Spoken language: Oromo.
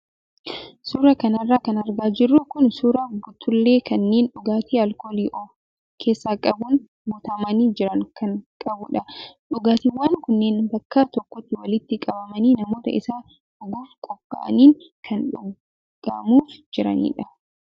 Suuraa kanarra kan argaa jirru kun suuraa buttullee kanneen dhugaatii alkoolii of keessaa qabuun guutamanii jiran kan qabudha. Dhugaatiiwwan kunneen bakka tokkotti walitti qabamanii namoota isa dhuguuf qophaa'aniin kan dhugamuuf jiranidha,.